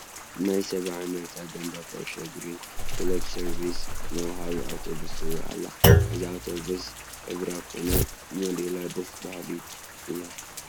ናይ ሰብዓ እንድርታ ጋንታ ኩዕሾ እግሪ ክለብ ሰርቪስ ወሃቢት ኣውቶቡስ ትርአ ኣላ፡፡ እዛ ኣውቶቡስ ሕብራ ኮነ ሞዴላ ደስ በሃሊ እያ፡፡